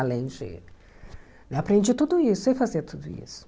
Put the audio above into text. Além de... Aprendi tudo isso e sei fazer tudo isso.